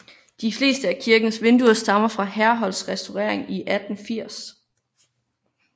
De fleste af kirkens vinduer stammer fra Herholdts restaurering i 1880